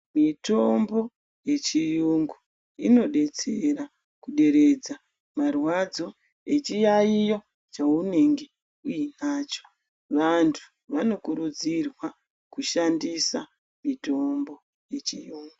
Mitombo yechiyungu inodetsera kuderedza marwadzo echiyayiyo chaanenge uyinacho vantu vanokuridzirwa kuti vashandise mitombo yechiyungu .